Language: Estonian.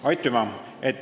Aitüma!